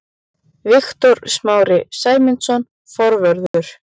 Viktor Smári Sæmundsson, forvörður.